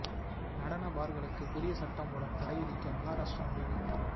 நடன பார்களுக்கு புதிய சட்டம் மூலம் தடை விதிக்க மகராஷ்டிரா முடிவு